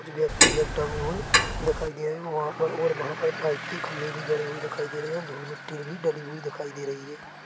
कुछ व्यक्ति बैग टाँगे हुए दिखाई दे रहे है और वहां पर और वहां पर पाइप के खंबे भी गड़े हुए दिखाई दे रहे है धूल मिट्टी भी डली हुई दिखाई दे रही है।